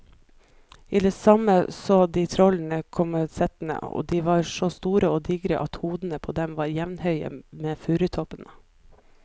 I det samme så de trollene komme settende, og de var så store og digre at hodene på dem var jevnhøye med furutoppene.